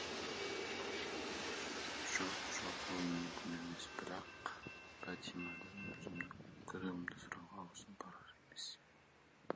жоқ жоқ ол мүмкін емес бірақ бәтимадан өзімнің күдігімді сұрауға аузым барар емес